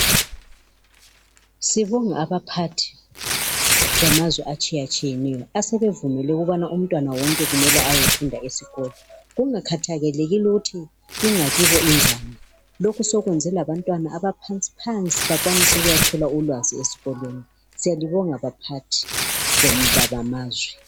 Sibonge abaphathi bamazwe atshiyatshiyeneyo asebevumile ukubana umntwana wonke kumele ayefunda esikolo kungakhathakelekile ukuthi ingakibo injani. Lokho sokwenze labantwana abaphansi bakwanise ukuya thola ulwazi ezikolweni. Siyalibonga baphathi bamazwe.